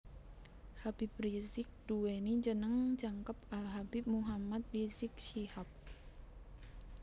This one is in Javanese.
Habib Rizieq nduweni jeneng jangkep Al Habib Muhammad Rizieq Syihab